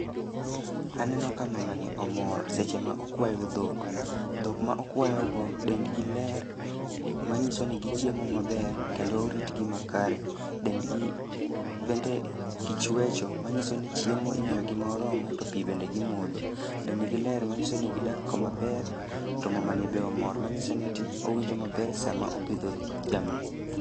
Aneno ka mamani omor seche ma okwayo dhok, dhok ma okwayo go dendgi ler. Ma nyiso ni gichiemo maber kendo oritgi makare. Dend gi bende gichwecho, manyiso ni chiemo imiyo gi ma oromo, pi bende gi modho. Dend gi ler manyiso ni gidak kama ler, to mamani be omor manyiso ni owinjo maber sama opidho jamni.